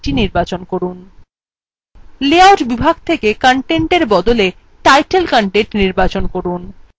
layout বিভাগ থকে>> content বদলে title content নির্বাচন from